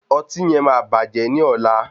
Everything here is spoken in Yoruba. Ọtí yen máa bàjẹ́ ní ọ̀la.